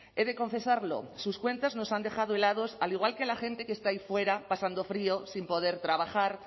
he de confesarlo sus cuentas nos han dejado helados al igual que a la gente que está ahí fuera pasando frío sin poder trabajar